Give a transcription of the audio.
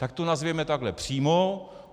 Tak to nazvěme takhle přímo.